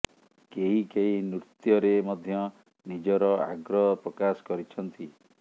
କେହି କେହି ନୃତ୍ୟରେ ମଧ୍ୟ ନିଜର ଆଗ୍ରହ ପ୍ରକାଶ କରିଛନ୍ତି